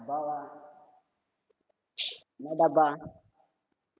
டப்பாவா என்ன டப்பா